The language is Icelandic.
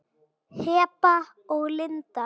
Heba og Linda.